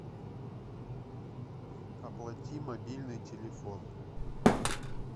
оплати мобильный телефон